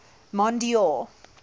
mondeor